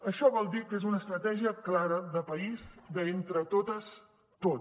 això vol dir que és una estratègia clara de país de entre totes tot